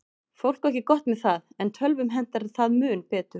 Fólk á ekki gott með það, en tölvum hentar það mun betur.